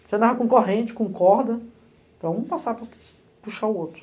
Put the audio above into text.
Você andava com corrente, com corda, para um passar para puxar o outro.